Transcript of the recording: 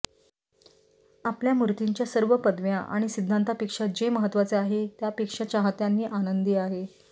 आपल्या मूर्तिंच्या सर्व पदव्या आणि सिद्धांतांपेक्षा जे महत्वाचे आहे त्यापेक्षा चाहत्यांनी आनंदी आहे